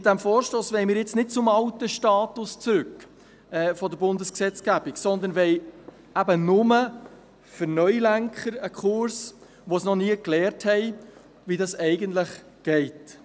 Mit diesem Vorstoss wollen wir nicht zum alten Status der Bundesgesetzgebung zurück, sondern wollen eben nur einen Kurs für «Neulenker», die noch nie gelernt haben, wie das eigentlich läuft.